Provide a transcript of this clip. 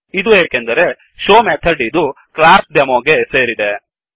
ಇದು ಏಕೆಂದರೆ showಶೋ ಮೆಥಡ್ ಇದು ಕ್ಲಾಸ್ Demoಡೆಮೊ ಗೆ ಸೇರಿದೆ